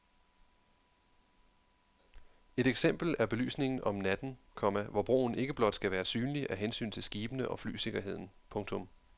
Et eksempel er belysningen om natten, komma hvor broen ikke blot skal være synlig af hensyn til skibene og flysikkerheden. punktum